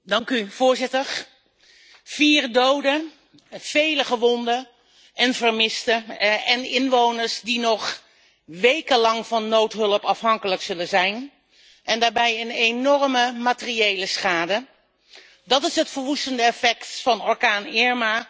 Vier doden, vele gewonden en vermisten en inwoners die nog wekenlang van noodhulp afhankelijk zullen zijn en daarbij een enorme materiële schade dat is het verwoestende effect van orkaan Irma op 34